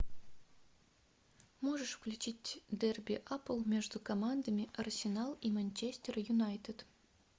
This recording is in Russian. можешь включить дерби апл между командами арсенал и манчестер юнайтед